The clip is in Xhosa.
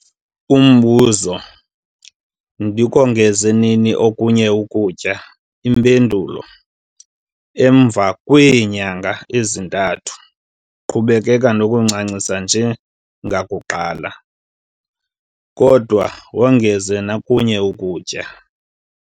Umbuzo- Ndikongeze nini okunye ukutya? Impendulo- Emva kwee nyanga ezintandathu, qhubeka nokuncancisa nje ngakuqala, kodwa wongeze nokunye ukutya.